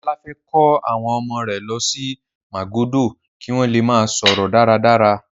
Ọlá fẹ́ kó àwọn ọmọ rẹ̀ lọ sí Màgódò kí wọ́n le máa sọ̀rọ̀ dáradára.